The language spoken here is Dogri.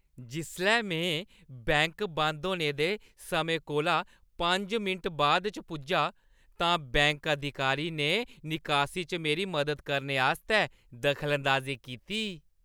जिसलै में बैंक बंद होने दे समें कोला पंज मिंट बाद च पुज्जा तां बैंक अधिकारी ने निकासी च मेरी मदद करने आस्तै दखलअंदाजी कीती।